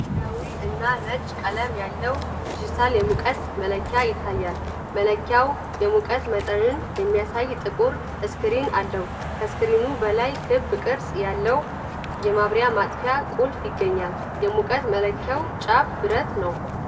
ሰማያዊ እና ነጭ ቀለም ያለው ዲጂታል የሙቀት መለኪያ ይታያል። መለኪያው የሙቀት መጠን የሚያሳይ ጥቁር ስክሪን አለው። ከስክሪኑ በላይ ክብ ቅርጽ ያለው የማብሪያ/ማጥፊያ ቁልፍ ይገኛል። የሙቀት መለኪያው ጫፍ ብረትማ ነው።